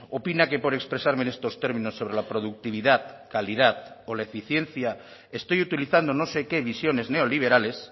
opina que por expresarme en estos términos sobre la productividad calidad o la eficiencia estoy utilizando no sé qué visiones neoliberales